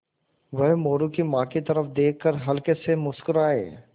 वह मोरू की माँ की तरफ़ देख कर हल्के से मुस्कराये